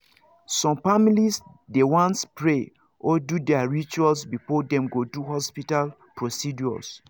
some families dey want pray or do their rituals before dem go do hospital procedures